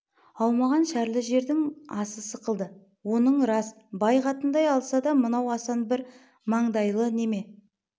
аумаған шәрлі жердің асы сықылды оның рас бай қатындай алса да мынау асан бір маңдайлы неме